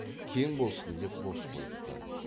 кең болсын деп бос қойыпты